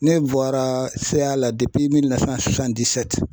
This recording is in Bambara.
Ne bɔra CA la